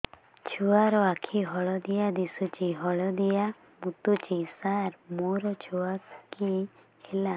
ଛୁଆ ର ଆଖି ହଳଦିଆ ଦିଶୁଛି ହଳଦିଆ ମୁତୁଛି ସାର ମୋ ଛୁଆକୁ କି ହେଲା